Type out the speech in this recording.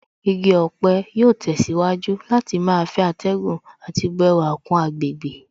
Igi ọ̀pẹ yóò tẹ̀síwájú láti máa fẹ́ atẹ́gùn àti bu ẹwà kún àgbègbè